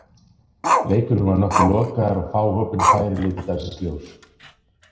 Leikurinn var nokkuð lokaður og fá opin færi litu dagsins ljós.